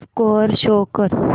score show कर